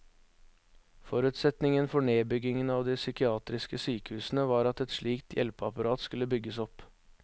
Forutsetningen for nedbyggingen av de psykiatriske sykehusene var at et slikt hjelpeapparat skulle bygges opp.